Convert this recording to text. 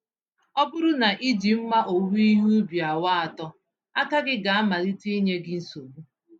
Ọbụrụ na ijie mma owuwe ihe ubi awa atọ, aka gá malite ịnye gị nsogbu.